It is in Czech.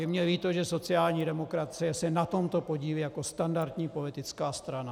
Je mi líto, že sociální demokracie se na tomto podílí jako standardní politická strana.